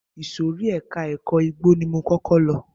Ìsòrí ẹka ẹ̀kọ́ igbó ni mo kọ́kọ́ lọ.